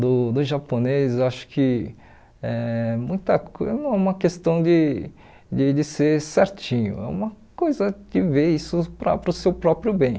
do do japonês, acho que eh muita co é uma questão de de de ser certinho, é uma coisa de ver isso para para o seu próprio bem.